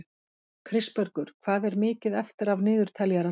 Kristbergur, hvað er mikið eftir af niðurteljaranum?